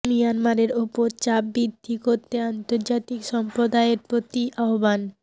মিয়ানমারের ওপর চাপ বৃদ্ধি করতে আন্তর্জাতিক সম্প্রদায়ের প্রতি আহ্বান